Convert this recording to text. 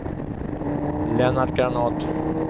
Lennart Granath